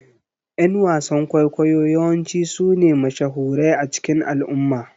Ƴan wasan ƙwaikwayo yawanci sune mashahurai a cikin al'umma